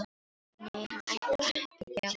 Nei, hann ætlaði ekki að gefast upp.